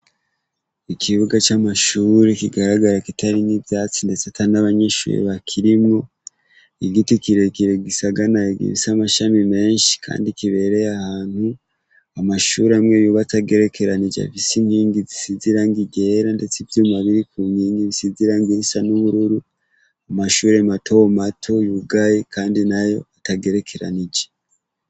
Ikibuga c'amashuri kigaragara kitari nk'ivyatsi, ndetse ata n'abanyinshuri bakirimwo igiti kirekire gisaganay giisi amashami menshi, kandi kibereye ahantu amashuri amwe yuba atagerekeranije avisa inkingi zisizirango igera, ndetse ivyumabiri ku nkingi bisizirangi insa n'ubururu umashure matowo mato yugayi, kandi nayo atagerekeranije.